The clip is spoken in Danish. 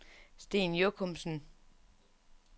Sten Jochumsen